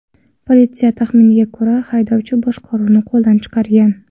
Politsiya taxminiga ko‘ra, haydovchi boshqaruvni qo‘ldan chiqargan.